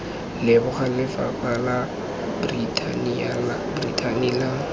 leboga lefapha la brithani la